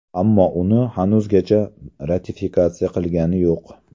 Ammo uni hanuzgacha ratifikatsiya qilgani yo‘q.